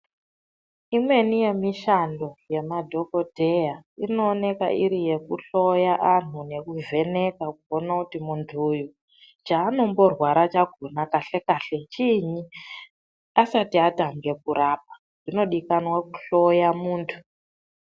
Imweni yemishando yemadhokodheya iriyekuhloya antu nekuvheneka kuona kuti muntu uyu chaanomborwara kahle kahle chiinyi asatai atange kurapa zvinodikanwa kuhloya muntu.